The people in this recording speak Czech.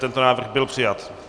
Tento návrh byl přijat.